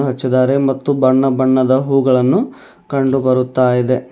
ಹಚ್ಚಿದಾರೆ ಮತ್ತು ಬಣ್ಣ ಬಣ್ಣದ ಹೂಗಳನ್ನು ಕಂಡುಬರುತ್ತಾ ಇದೆ.